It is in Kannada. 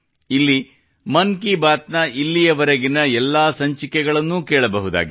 ಇಲ್ಲಿ ಮನ್ ಕಿ ಬಾತ್ ನ ಇಲ್ಲಿಯವರೆಗಿನ ಎಲ್ಲಾ ಸಂಚಿಕೆಗಳನ್ನೂ ಕೇಳಬಹುದಾಗಿದೆ